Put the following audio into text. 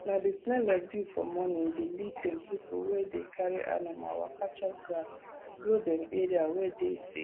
na the smell of dew for morning dey lead dem pipu wey dey carry animal waka chop grass go dem area wey dey safe